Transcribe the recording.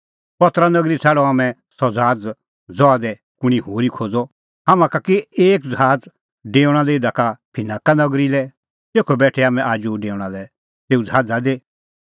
पतरा नगरी छ़ाडअ हाम्हैं सह ज़हाज़ ता कुंणी होरी खोज़अ हाम्हां का कि एक ज़हाज़ डेऊणअ इधा का फिनाका नगरी लै तेखअ बेठै हाम्हैं आजू डेऊणा लै तेऊ ज़हाज़ा दी